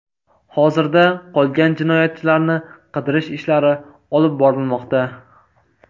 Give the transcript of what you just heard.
Hozirda qolgan jinoyatchilarni qidirish ishlari olib borilmoqda.